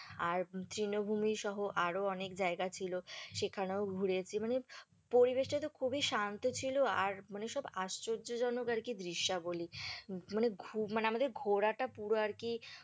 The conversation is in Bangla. আর তৃণভূমি সহ আরও অনেক জায়গা ছিল সেখানেও ঘুরেছি, মানে পরিবেশটা তো খুবই শান্ত ছিল আর মানে সব আশ্চর্যজনক আর কি দৃশ্যাবলী, মানে মানে আমাদের ঘোরাটা পুরো আর কি